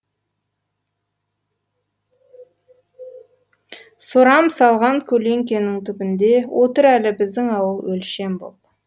сорам салған көлеңкенің түбінде отыр әлі біздің ауыл өлшем боп